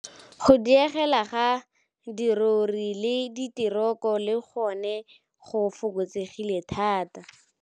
Go diega ga dirori le dite roko le gone go fokotsegile thata.